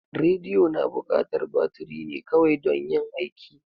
Radiyo na bukatar baturi ne kawai dan yin aiki.